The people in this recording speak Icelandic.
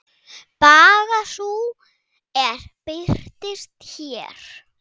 Baga sú er birtist hér.